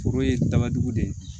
Foro ye dabadugu de ye